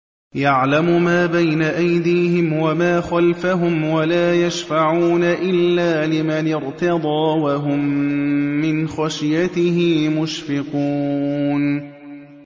يَعْلَمُ مَا بَيْنَ أَيْدِيهِمْ وَمَا خَلْفَهُمْ وَلَا يَشْفَعُونَ إِلَّا لِمَنِ ارْتَضَىٰ وَهُم مِّنْ خَشْيَتِهِ مُشْفِقُونَ